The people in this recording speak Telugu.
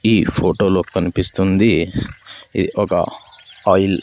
ఈ ఫోటోలో కనిపిస్తుంది ఇ ఒక ఆయిల్ --